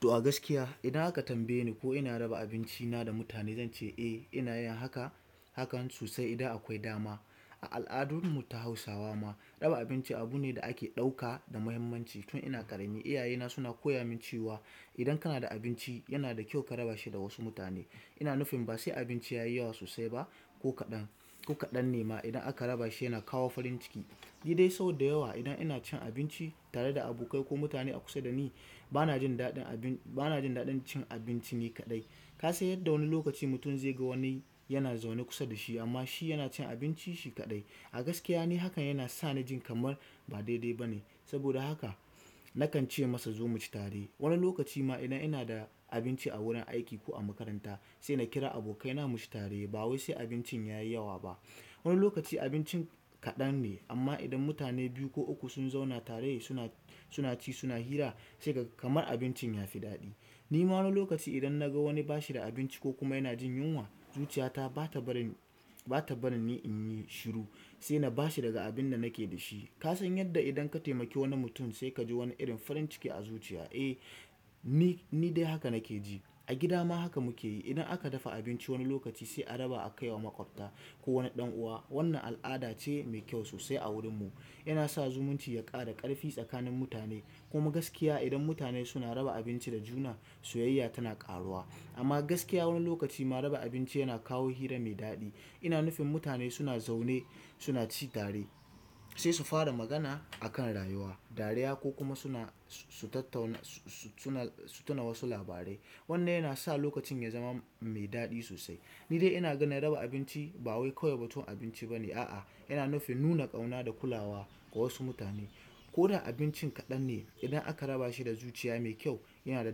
To a gaskiya idan aka tambaye ni ko ina raba abinci na da mutane, zan ce eh ina yin haka, hakan sosai idan akwai dama. A al'adanmu ta hausawa raba abinci abune da ake ɗauka da muhimmanci. Tun ina ƙarami, iyayena suna koya min cewa idan kana da abinci, yana da kyau ka raba shi da wasu mutane. Ina nufin ba sai abinci ya yi yawa sosai ba, ko kaɗan, ko kaɗan ne ma idan aka raba shi yana kawo farin ciki. Ni dai sau da yawa idan ina cin abinci tare da abokai ko mutane a kusa da ni, bana jin daɗin abin, bana jin daɗin cin abinci ni kaɗai. Ka san yadda wani lokaci mutum zai ga wani yana zaune kusa da shi amma shi yana cin abinci shi kaɗai. A gaskiya ni hakan yana sa ni jin kamar ba daidai ba ne. Saboda haka nakan ce masa zo mu ci tare. Wani lokaci ma idan ina da abinci a wurin aiki ko a makaranta, sai na kira abokaina mu ci tare ba wai sai abincin ya yi yawa ba. Wani lokaci abincin kaɗan ne amma idan mutane biyu ko uku sun zauna tare suna, suna ci suna hira, sai ka kamar abincin ya fi daɗi. Ni ma wani lokaci idan na ga wani bashi da abinci ko kuma yana jin yunwa, zuciyata ba ta barin, bata barin ni inyi shiru sai nabashi daga abin da nake dashi. Kasan yadda idan ka taimaki wani mutum sai kaji wani irin farin ciki a zuciya. Eh, ni, ni dai haka nakeji. A gida ma haka muke yi. Idan aka dafa abinci wani lokaci sai a raba a kaiwa maƙwabta ko wani ɗan uwa. Wannan al'ada ce mai kyau sosai a wurin mu. Yana sa zumunci ya ƙara ƙarfi tsakanin mutane. Kuma gaskiya idan mutane suna raba abinci da juna, soyayya tana ƙaruwa. Amma gaskiya wani lokaci ma raba abinci yana kawo hira mai daɗi. Ina nufin mutane suna zaune suna ci tare sai su fara magana a kan rayuwa, dariya ko kuma suna, su tattauna suna, su tuna wasu labarai. Wannan yana sa lokacin ya zama mai daɗi sosai. Ni dai ina ganin raba abinci bawai kawai batun abinci ba ne. A'a, yana nufin nuna ƙauna da kulawa ga wasu mutane. Ko da abincin kaɗan ne, idan aka raba shi da zuciya mai kyau, yana da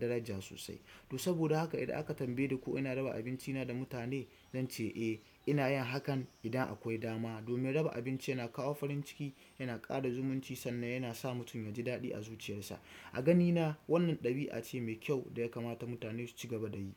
daraja sosai. To saboda haka idan aka tambaye ni ko ina raba abincina da mutane, zan ce eh inayin hakan idan akwai dama. Domin raba abinci yana kawo farin ciki yana ƙara zumunci sannan yana sa mutum yaji farin ciki a zuciyar sa. A ganina wannan ɗabi'a ce mai kyau da ya kamata mutane su ci gaba da yi.